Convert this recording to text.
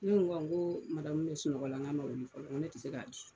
Ne ko n ko wa madenw bɛ sunɔgɔ la, a ma ma wuli fɔlɔ, ne tɛ se k'a di.